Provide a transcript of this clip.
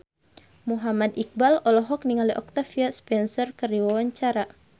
Muhammad Iqbal olohok ningali Octavia Spencer keur diwawancara